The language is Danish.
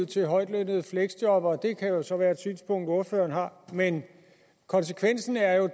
til højtlønnede fleksjobbere det kan så være et synspunkt ordføreren har men konsekvensen af